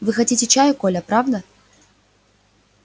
вы хотите чаю коля правда